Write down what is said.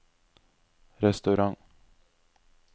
restaurant